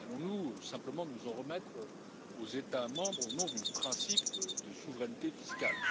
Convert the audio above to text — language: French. Allons nous simplement nous en remettre aux États membres, au nom du principe de souveraineté fiscale?